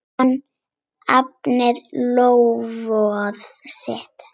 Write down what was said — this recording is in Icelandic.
Hann efnir loforð sitt.